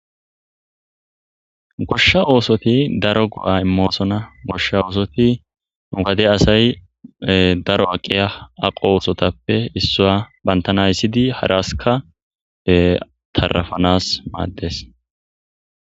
Gosha osoti daro go'a imossona gosha ossoti nu gade asay daro aqiya daro osotappe pantana aysidi haras tarafanas madees.